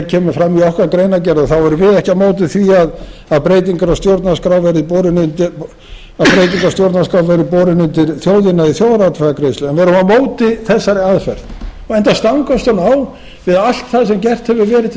kemur fram í okkar greinargerð þá erum við ekki á móti því að breyting á stjórnarskrá verði borin undir þjóðina í þjóðaratkvæðagreiðslu en við erum á móti þessari aðferð enda stangast hún á við allt það sem gert hefur verið til